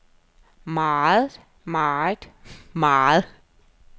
meget meget meget